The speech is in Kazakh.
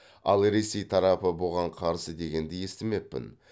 ал ресей тарапы бұған қарсы дегенді естімеппін